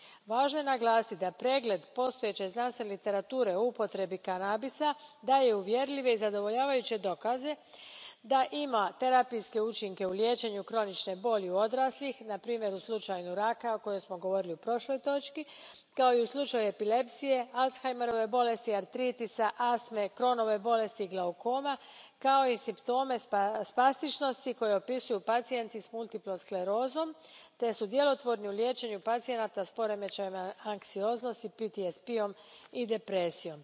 Važno je naglasiti da pregled postojeće znanstvene literature o upotrebi kanabisa daje uvjerljive i zadovoljavajuće dokaze da ima terapijske učinke u liječenju kronične boli u odraslih, na primjer u slučaju raka, o kojem smo govorili u prošloj točki, kao i u slučaju epilepsije, Alzheimerove bolesti, artritisa, astme, Chronove bolesti, glaukoma, kao i simptome spastičnosti koje opisuju pacijenti s multiplom sklerozom te su djelotvorni u liječenju pacijenata s poremećajem anksioznosti, PTSP jem i depresijom.